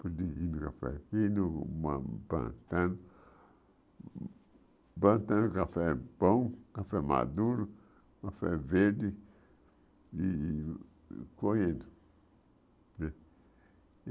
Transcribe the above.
o café aqui, plantando, plantando café bom, café maduro, café verde, e e colhendo.